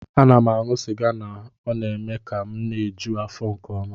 M na-aṅụ sịga na-eme ka m na-eju afọ nke ọma